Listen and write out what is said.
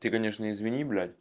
ты конечно извини блядь